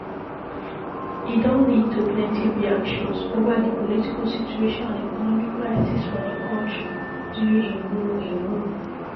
e don lead to plenty reactions ova di political situation and economic crisis for di kontri during im rule im rule